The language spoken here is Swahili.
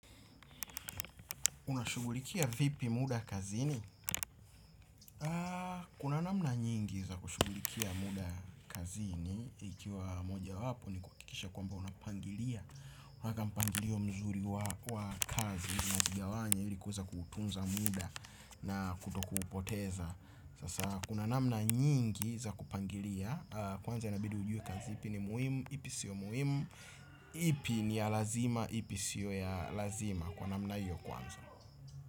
Unashughulikia vipi muda kazini? Kuna namna nyingi za kushughulikia muda kazini ikiwa moja wapo ni kuhakikisha kwamba unapangilia panga mpangilio mzuri wa kazi unakigawanya ili kuweza kutunza muda na kutokupoteza, sasa kuna namna nyingi za kupangilia kwanza inabidi ujue kazi ipi ni muhimu, ipi siyo muhimu ipi ni ya lazima ipi siyo ya lazima kwa namna hiyo kwanza.